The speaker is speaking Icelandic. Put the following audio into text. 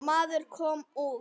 Maður kom út.